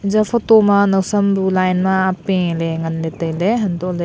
ija photo ma nawsam bu line ma apeh ley nganle tai ley hanto le--